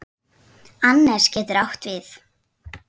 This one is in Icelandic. Annes getur átt við